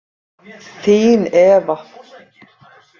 Þín Eva